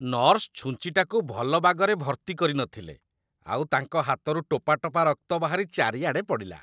Nurse ଛୁଞ୍ଚିଟାକୁ ଭଲ ବାଗରେ ଭର୍ତ୍ତି କରିନଥିଲେ ଆଉ ତାଙ୍କ ହାତରୁ ଟୋପାଟୋପା ରକ୍ତ ବାହାରି ଚାରିଆଡ଼େ ପଡ଼ିଲା ।